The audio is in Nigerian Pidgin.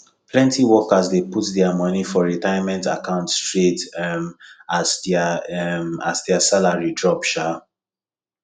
plenty workers dey put their money for retirement account straight um as their um as their salary drop um